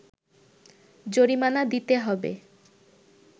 জরিমানা দিতে হবে